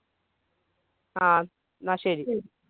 ങ്ഹാ എന്നാൽ ശരി.